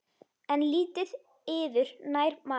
En lítið yður nær maður.